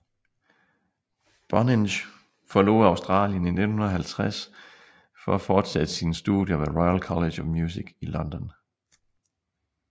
Bonynge forlod Australien i 1950 for at fortsætte sine studier ved Royal College of Music i London